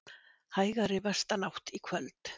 Hægari vestanátt í kvöld